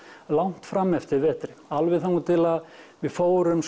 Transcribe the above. langt fram eftir vetri alveg þangað til við fórum